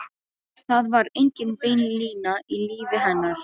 Það var engin bein lína í lífi hennar.